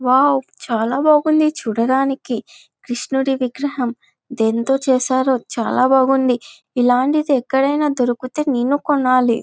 Wow చాల బాగుంది చూడడానికి. కృషునుని విగ్రహము దేనితు చేసారు. చాల బాగునుది. ఇలనిటిది ఎక్కడిన దొరికితే నేను కొనాలి.